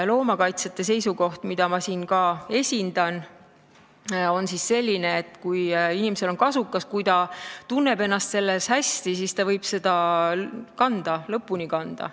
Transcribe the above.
Loomakaitsjate seisukoht, mida ma siin esindan, on selline, et kui inimesel on kasukas ja kui ta tunneb ennast selles hästi, siis ta võib seda kanda, ta võib selle lõpuni kanda.